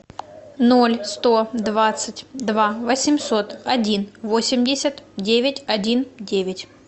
ноль сто двадцать два восемьсот один восемьдесят девять один девять